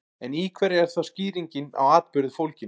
En í hverju er þá skýring á atburði fólgin?